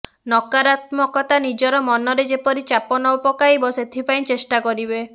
ନକାରାତ୍ମକତା ନିଜର ମନରେ ଯେପରି ଚାପ ନ ପକାଇବ ସେଥିପାଇଁ ଚେଷ୍ଟା କରିବେ